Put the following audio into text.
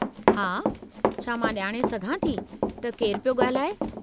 हा, छा मां ॼाणे सघां थी त केरु पियो ॻाल्हाए?